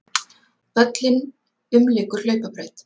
Völlinn umlykur hlaupabraut.